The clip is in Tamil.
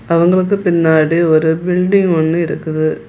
அவங்க வந்து பின்னாடி ஒரு பில்டிங் ஒன்னு இருக்குது.